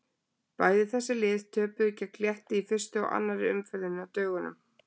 Bæði þessi lið töpuðu gegn Létti í fyrstu og annarri umferðinni á dögunum.